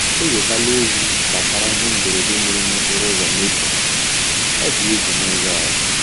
E wetala ozi gbasara ihe mberede mere n'okporo ụzọ Maple — odiegwu n'oge a